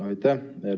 Aitäh!